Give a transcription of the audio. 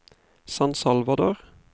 San Salvador